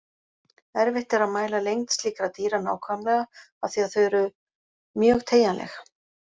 Erfitt er að mæla lengd slíkra dýra nákvæmlega af því að þau eru mjög teygjanleg.